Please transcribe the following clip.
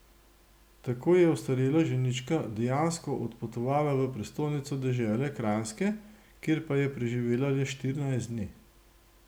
Tako je ostarela ženička dejansko odpotovala v prestolnico dežele Kranjske, kjer pa je preživela le štirinajst dni.